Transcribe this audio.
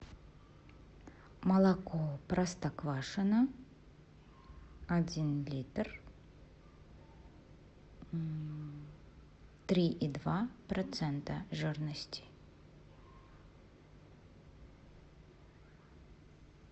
молоко простоквашино один литр три и два процента жирности